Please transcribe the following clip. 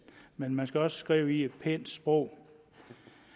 men man skal også skrive i et pænt sprog